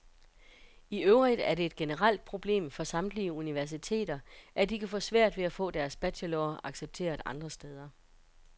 I øvrigt er det et generelt problem for samtlige universiteter, at de kan få svært ved at få deres bachelorer accepteret andre steder.